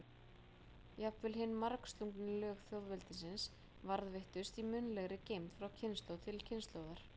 Jafnvel hin margslungnu lög þjóðveldisins varðveittust í munnlegri geymd frá kynslóð til kynslóðar.